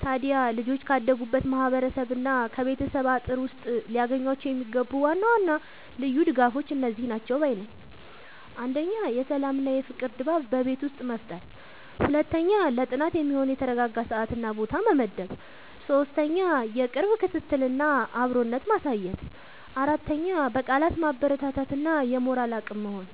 ታዲያ ልጆች ካደጉበት ማህበረሰብና ከቤተሰብ አጥር ውስጥ ሊያገኟቸው የሚገቡ ዋና ዋና ልዩ ድጋፎች እነዚህ ናቸው ባይ ነኝ፦ 1. የሰላምና የፍቅር ድባብ በቤት ውስጥ መፍጠር 2. ለጥናት የሚሆን የተረጋጋ ሰዓትና ቦታ መመደብ 3. የቅርብ ክትትልና አብሮነት ማሳየት 4. በቃላት ማበረታታት እና የሞራል አቅም መሆን